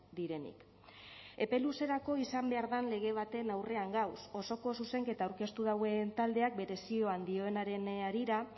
direnik epe luzerako izan behar dan lege baten aurrean gauz osoko zuzenketa aurkeztu dauen taldeak bere zioan dioenaren harira